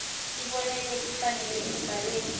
tibonelo letifanele emibhalweni